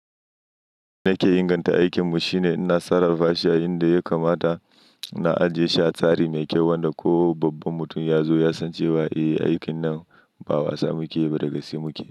Na ke inganta aikin mu shine ina sarrafa shi a inda ya kamata, ina ajiye shi a tsari mai kyau wanda ko babban mutum ya zo ya san cewa eh, aikin nan ba wasa muke yi ba dagaske muke.